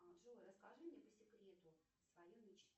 джой расскажи мне по секрету свою мечту